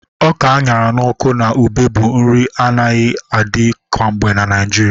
Ọka a ṅara n'ọkụ na ube bụ nri na-anaghi adi kwangbe na Naịjirịa